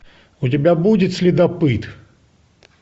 у тебя будет следопыт